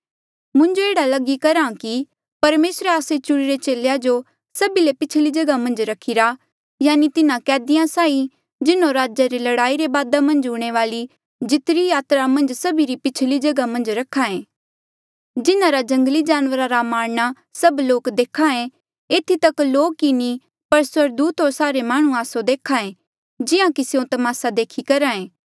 मुंजो एह्ड़ा लगी करहा कि परमेसरे आस्से चुणिरे चेलेया जो सभी ले पिछली जगहा मन्झ रखिरा यानि तिन्हा कैदिया साहीं जिन्हों राजा रे लड़ाई रे बादा मन्झ हूंणे वाली जितिरी यात्रा मन्झ सभी री पिछली जगहा मन्झ रखायें जिन्हारा जंगली जानवरा रा मारणा सभ लोक देख्हे एथी तक लोक ही नी पर स्वर्गदूता होर सारे माह्णुं आस्सो देख्हे जिहां कि स्यों तमासा देखी करहे